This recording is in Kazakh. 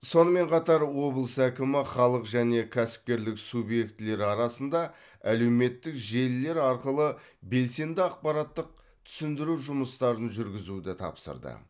сонымен қатар облыс әкімі халық және кәсіпкерлік субъектілері арасында әлеуметтік желілер арқылы белсенді ақпараттық түсіндіру жұмыстарын жүргізуді тапсырды